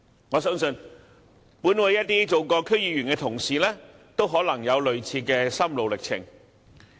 我相信，本會一些曾經做過區議員的同事都可能有類似的心路歷程。